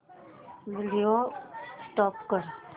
video stop कर